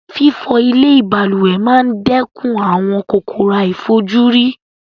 Fífo ilè balùwè ma n dékun àwon kòkòrò àìfojúrí